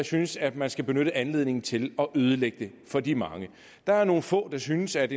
synes at man skal benytte anledningen til at ødelægge det for de mange der er nogle få der synes at